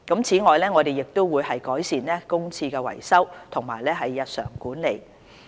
此外，我們亦會改善公廁的維修及日常管理。